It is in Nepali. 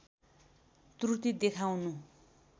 त्रुटि देखाउनु